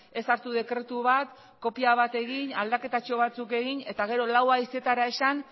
ez hartu dekretu bat kopia bat egin aldaketatxo batzuk egin eta gero lau haizeetara esan